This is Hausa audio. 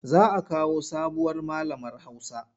Za a kawo sabuwar malamar Hausa.